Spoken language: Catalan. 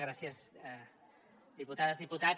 gràcies diputades diputats